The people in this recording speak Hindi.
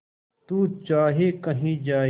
तू चाहे कही जाए